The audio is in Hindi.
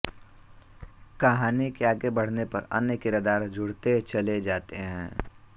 कहानी के आगे बढ़ने पर अन्य किरदार जुड़ते चले जाते हैं